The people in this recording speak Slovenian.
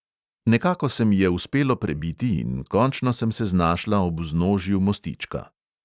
Nekako se mi je uspelo prebiti in končno sem se znašla ob vznožju mostička.